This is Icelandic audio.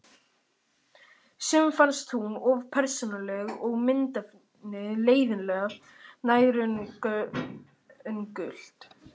Sumum fannst hún of persónuleg og myndefnið leiðinlega nærgöngult.